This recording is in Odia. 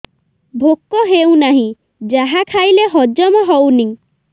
ଭୋକ ହେଉନାହିଁ ଯାହା ଖାଇଲେ ହଜମ ହଉନି